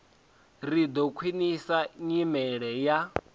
ri ḓo khwiṋisa nyimelo ya